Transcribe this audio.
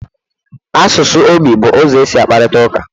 Asụsụ ogbi bụ ụzọ e si akparịta ụka